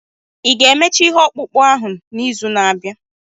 Ị ga-emecha ihe ọkpụkpụ ahụ n'izu na-abịa?